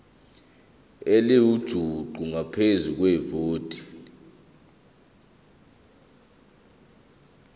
elingujuqu ngaphezu kwevoti